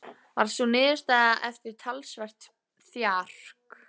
Varð sú niðurstaðan eftir talsvert þjark.